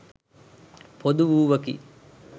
පොදු වූවකි.